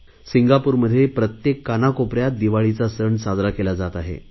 सिंगापूरमध्ये तर प्रत्येक कानाकोपऱ्यात दिवाळीचा सण साजरा केला जात आहे